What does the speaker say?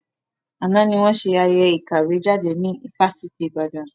Àná ni wọn ṣe ayẹyẹ ìkàwé jáde ní Fásitì Ìbàdàn.